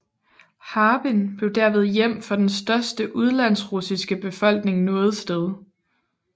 Harbin blev derved hjem for den største udenlandsrussiske befolkning noget sted